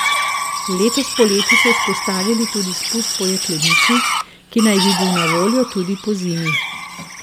Letos poleti so vzpostavili tudi spust po jeklenici, ki naj bi bil na voljo tudi pozimi.